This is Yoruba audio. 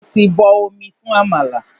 Mo ti bọ omi fún àmàlà.